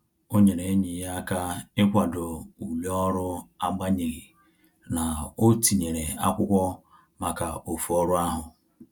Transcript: O nyere enyi ya aka ikwado ule ọrụ agbanyeghi na-o tinyere akwụkwọ maka ofu ọrụ ahu